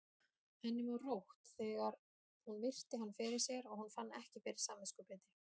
Henni var rótt þegar hún virti hann fyrir sér og hún fann ekki fyrir samviskubiti.